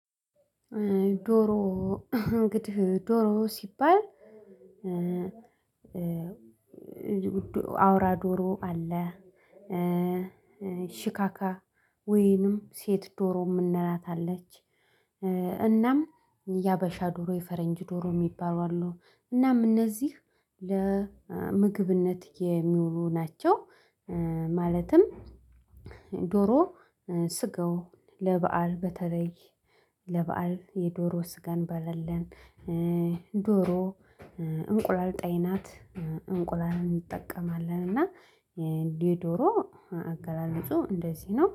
ዶሮ እንግዲህ ዶሮ ሲባል። አውራ ዶሮ አለ ሽካካ ወይንም ሴት ዶሮ የምንላት አለች። እናም የሀበሻ ዶሮ የፈረንጅ ዶሮ የሚባሉ አሉ አለው እናም እነዚህ ለምግብነት የሚውሉ ናቸው። ማለትም ዶሮ ስጋው ለበአል በተለይ ለበአል የዶሮ ስጋን በለለን ዶሮ እንቁላል ጣይ ናት እንቁላል እንጠቀማለን። እና የእንዲህ ዶሮ አገላለጹ እንደዚህ ነው